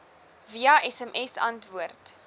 via sms antwoord